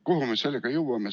Kuhu me sedasi jõuame?